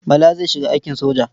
Bala zai shiga aikin soja.